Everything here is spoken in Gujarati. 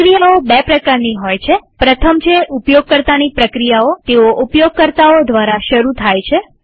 પ્રક્રિયાઓ બે પ્રકારની હોય છે પ્રથમ છે ઉપયોગકર્તાની પ્રક્રિયાઓતેઓ ઉપયોગકર્તાઓ દ્વારા શરુ થાય છે